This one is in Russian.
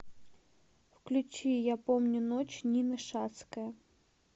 включи я помню ночь нина шацкая